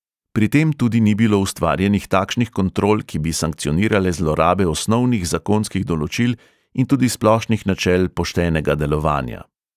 Pri tem tudi ni bilo ustvarjenih takšnih kontrol, ki bi sankcionirale zlorabe osnovnih zakonskih določil in tudi splošnih načel poštenega delovanja.